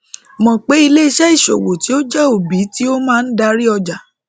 mọ pe ileiṣẹ isowo ti o jẹ obi ti o maa dari ọja